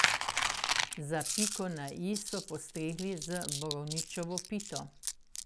Za piko na i so postregli z borovničevo pito.